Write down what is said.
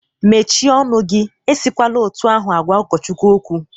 Mechie ọnụ gi! Esikwala otu ahụ gwa ụkọchukwu okwu.